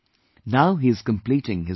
Now he is completing his book